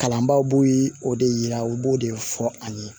Kalanbaaw b'o o de yira u b'o de fɔ an ye